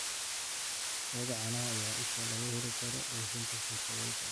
Lo'da caanaha ayaa ah isha laga heli karo dhoofinta suurtagalka ah.